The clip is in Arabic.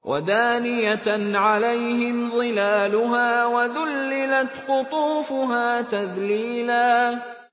وَدَانِيَةً عَلَيْهِمْ ظِلَالُهَا وَذُلِّلَتْ قُطُوفُهَا تَذْلِيلًا